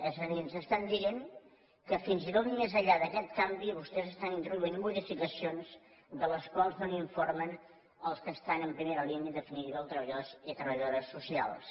és a dir ens estan dient que fins i tot més enllà d’aquest canvi vostès estan introduint modificacions de les quals no informen els que estan en primera línia en definitiva els treballadors i treballadores socials